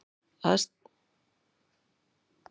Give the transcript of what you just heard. Ástæður þess að loft tapar varma eru fleiri.